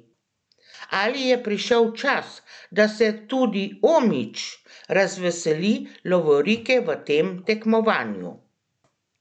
Ali je prišel čas, da se tudi Omić razveseli lovorike v tem tekmovanju?